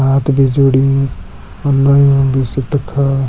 हाथ भी जोड्युं और नयु बी सी तखा।